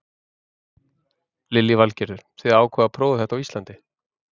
Lillý Valgerður: Þið ákváðuð að prófa þetta á Íslandi?